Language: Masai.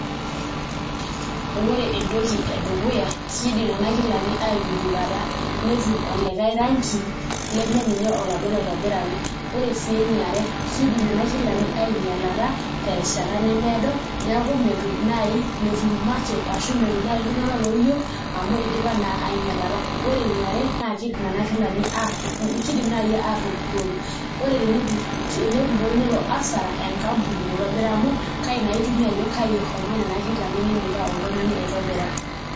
Ore entoki edukuya kiidim nena kilani aijujukata netum olikae rangi lemeninye oladuo oitobiraki, ore sii enaiare kiidim nena kilani ainyialata terishata nemeedo neeku metum naai metum market ashu metum naai iltung'anak looyieu amu idipa naa ainyialata ore eniare naa kiidim naai aatupurrori ore tenepurori nelo asara enkampuni naitobira amu kaai naa itumie ajo kai eshomoita nena kilani nindipa oltung'ani aitobira.